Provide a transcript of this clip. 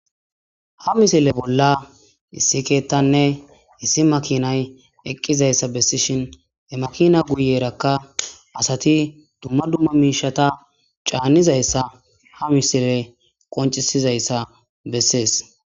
ha misile bolla issi keettanne issi makinay eqqizayssa bessishin he makina guyeerakka asati dumma dumma miishata caanizayssa ha misile qoncisizayssa bessees